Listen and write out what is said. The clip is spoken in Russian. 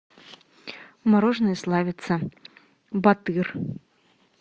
мороженое славица батыр